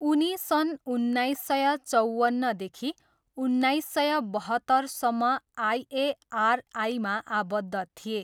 उनी सन् उन्नाइस सय चवन्नदेखि उन्नाइस सय बहत्तरसम्म आइएआरआईमा आबद्ध थिए।